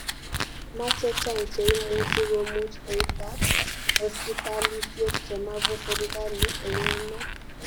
Machang che imuchi komuuch beitab hospitalisiek chemabo serikalit eng emet